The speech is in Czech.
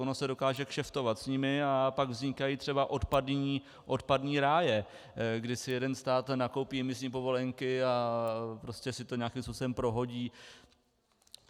Ono se dokáže kšeftovat s nimi a pak vznikají třeba odpadní ráje, kdy si jeden stát nakoupí imisní povolenky a prostě si to nějakým způsobem prohodí.